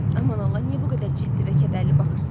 Aman Allah, niyə bu qədər ciddi və kədərli baxırsınız?